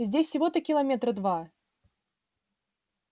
здесь всего-то километра два